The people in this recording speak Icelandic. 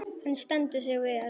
Hann stendur sig vel.